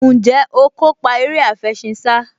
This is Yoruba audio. Ǹjẹ́ o kópa eré àfẹṣinsá?